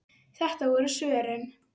Þetta voru svörin.